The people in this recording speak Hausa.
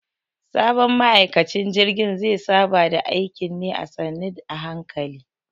Sabon ma'aikacin jirgin ze saba da aikin ne a sannu a hankali.